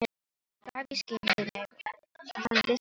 Hann gaf í skyn við mig að hann vissi eitthvað.